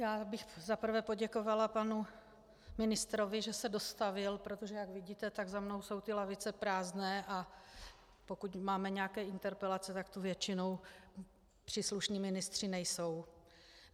Já bych za prvé poděkovala panu ministrovi, že se dostavil, protože jak vidíte, tak za mnou jsou ty lavice prázdné, a pokud máme nějaké interpelace, tak tu většinou příslušní ministři nejsou.